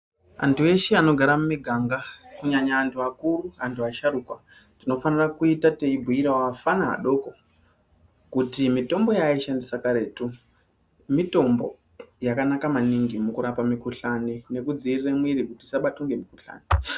Antu eshe anogare mumiganga kunyanya anhu akuru, anhu asharukwa tinofanire kuita teibhuyirawo afana adoko kuti mitombo yaaishandisa karetu mitombo yakanaka maningi mukarapa mikhuhlani nekudziirire mwiri kuti usabatwe ngemukhuhlani.